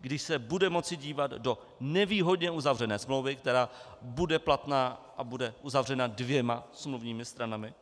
když se bude moci dívat do nevýhodně uzavřené smlouvy, která bude platná a bude uzavřena dvěma smluvními stranami?